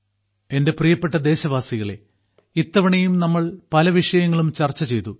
എന്റെ പ്രിയപ്പെട്ട ദേശവാസികളെ ഇത്തവണയും നമ്മൾ പല വിഷയങ്ങളും ചർച്ച ചെയ്തു